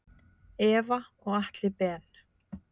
Eva og Atli Ben.